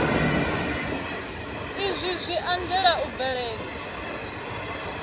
izwi zwi anzela u bveledza